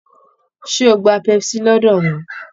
Ṣé o gba pepsi lọ́dọ̀ wọn